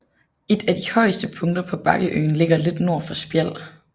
Et af de højeste punkter på bakkeøen ligger lidt nord for Spjald